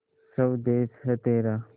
स्वदेस है तेरा